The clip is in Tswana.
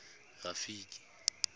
rafiki